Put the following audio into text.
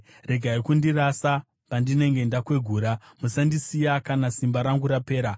Regai kundirasa pandinenge ndakwegura; musandisiya kana simba rangu rapera.